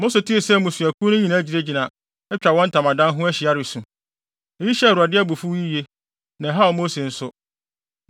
Mose tee sɛ mmusuakuw no nyinaa gyinagyina, atwa wɔn ntamadan ho ahyia resu. Eyi hyɛɛ Awurade abufuw yiye, na ɛhaw Mose nso.